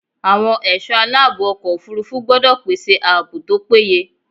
Àwọn ẹ̀sọ́ aláàbò ọkọ̀ òfúrúfú gbọ́dọ̀ pèsè ààbò tó péye.